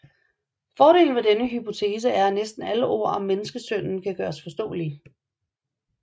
Fordelen ved denne hypotese er at næsten alle ord om menneskesønnen kan gøres forståelige